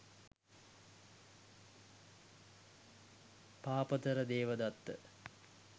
පාපතර Devadatta,